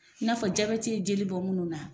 I n'a fɔ jabɛti ye jeli bɔ minnu na,